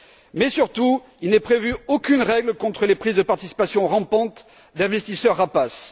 Mais surtout, il n'est prévu aucune règle contre les prises de participation rampantes d'investisseurs rapaces.